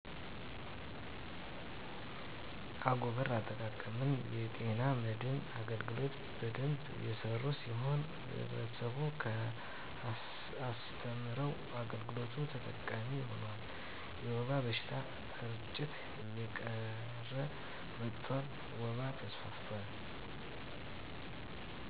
አጎበር አጠቃቀምን። የጤና መድን አገልግሎት በደንብ እየሰሩ ሲሆር ህብረተሰቡን አስተምረው የአገልግሎቱ ተጠቃሚ ሁነዋል። የወባ በሽታ እርጭት እየቀረ መጠጥቷል። ወባ ተስፋፍቷቲ